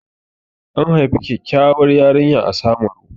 An haifi kyakkyawar yarinya a Samaru.